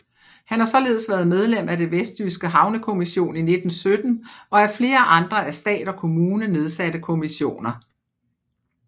Han har således været medlem af den vestjyske havnekommission 1917 og af flere andre af stat og kommune nedsatte kommissioner